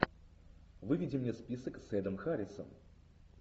выведи мне список с эдом харрисом